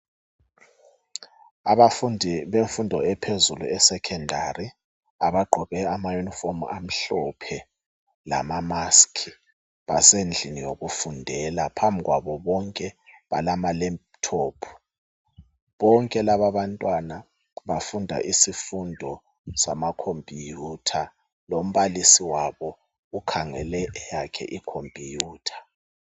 Abafundi bemfundo ephezulu e"Secondary "abagqoke ama"uniform" amhlophe lama "musk" basendlini yokufundela phambi kwabo bonke balama "laptop" bonke labantwana bafunda isifundo sama "computer" lombalisi wabo ukhangele eyakhe i"computer".